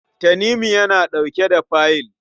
Tanimu yana ɗauke da fayil.